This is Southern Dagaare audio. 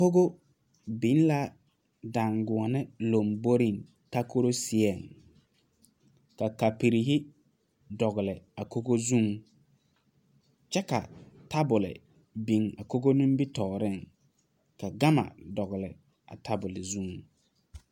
Kogo biŋ la daŋgoɔni lamboriŋ takoro seɛŋ ka kaporrii dɔɔggli a kogo zuiŋ kyɛ ka tabul biŋ a kogo nimittɔɔriŋ ka gama dɔgli a tabul zuŋ.